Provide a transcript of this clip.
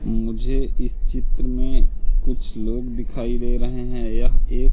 मुझे इस चित्र में कुछ लोग दिखाई दे रहे है। यह एक--